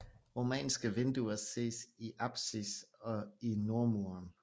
Romanske vinduer ses i apsis og i nordmuren